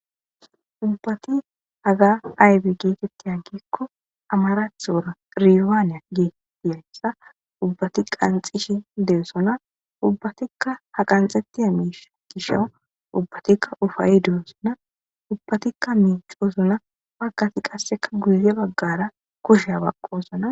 Ubbat haga ayba getwt gikon amarathora Rewanne gizaysa ubbatika qanxishe dosona . Ubbatika ha qanxetiya misha gisha ubbatika ufayid dosona ubatik micosona , Bagat qaseka guye bagara kushiya baqosona .